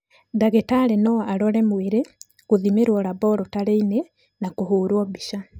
Ndagĩtarĩ no arore mwĩrĩ, gũthimĩrwo laborotarĩ-inĩ na kũhũrwo mbica.